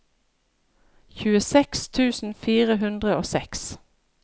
tjueseks tusen fire hundre og seks